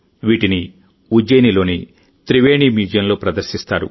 వీటిని ఉజ్జయినిలోని త్రివేణి మ్యూజియంలో ప్రదర్శిస్తారు